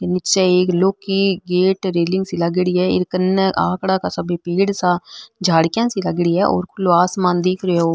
निचे एक लौह की गेट रेलिंग सी लागेड़ी है ई कने आकड़ा का सभी पेड़ सा झड़किया सी लागेड़ी है और खुलो आसमान दिख रो --